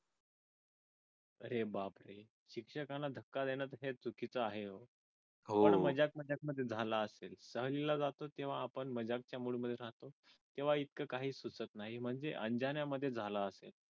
हे बाप शिक्षकांना धक्का देणं हे चुकीचं आहे पण मजाक मजाक मध्ये झालं असेल सहलीला जातो तेव्हा आपण मजाक च्या mood मध्ये असतो तेव्हा इतक काही सुचत नाही म्हणजे अंजाना मध्ये झाल असेल